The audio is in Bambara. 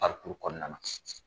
Parikuru kɔnɔna na.